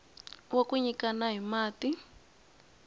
wa ku nyikana hi mati